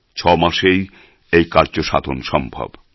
ছয় মাসেই এই কার্যসাধন সম্ভব